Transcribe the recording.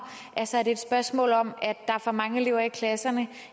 altså er det et spørgsmål om at der er for mange elever i klasserne